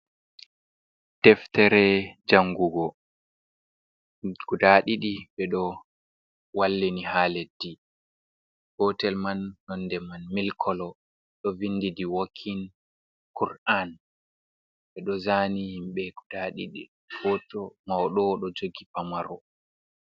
Deftere jangugo guda ɗiɗi ɓeɗo wallini ha leddi gotel man nonde man milik kolo ɗo vindi diwokin kur’an ɓeɗo zaani himɓe guda ɗiɗi hoto mauɗo ɗo jogi pamaro.